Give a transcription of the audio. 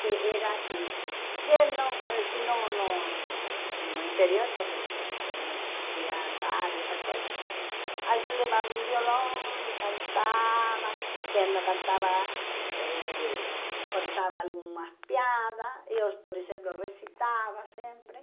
que era assim, que no assim no no eh no interior, sobretudo, que não existia rádio, essas coisas, alguém levava um violão e cantava, quem não cantava, eh contava algumas piadas, eu, por exemplo, recitava sempre.